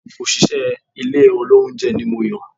Òṣìṣẹ́ ilé olóúnjẹ ni Moyò